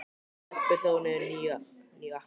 Stebbi hlóð niður nýju appi.